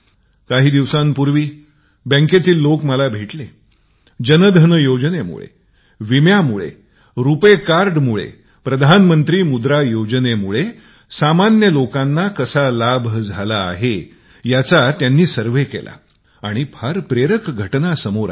काही दिवसांपूवी बँकेतील लोक मला भेटले जन धन योजनेमुळे विम्याच्या कारणांनी रुपाय कार्ड मुळे प्रधानमंत्री योजनेमुळे सामान्य लोकांना कसा लाभ झाला आहे त्याचा त्यांनी सर्वेक्षण केले आणि फार प्रेरक घटना मिळाल्या